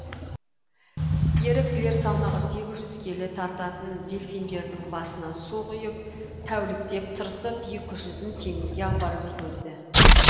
еріктілер салмағы сегіз жүз келі тартатын делфиндердің басына су құйып тәуліктеп тырысып екі жүзін теңізге апарып үлгерді